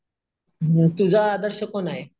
तुझा आदर्श कोण आहे?